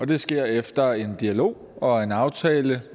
det sker efter en dialog og en aftale